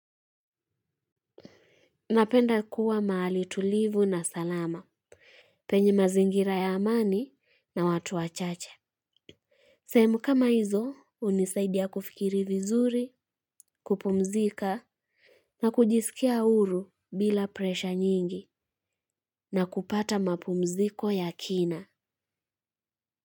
Napenda kuwa mahali tulivu na salama, penye mazingira ya amani na watu wachache. Sehemu kama hizo, hunisaidia kufikiri vizuri, kupumzika na kujisikia huru bila presha nyingi na kupata mapumziko ya kina.